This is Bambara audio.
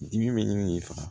Dimi de faga